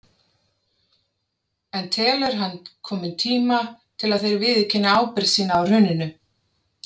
En telur hann kominn tíma til að þeir viðurkenni ábyrgð sína á hruninu?